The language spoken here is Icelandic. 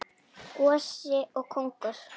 Gosi og kóngur.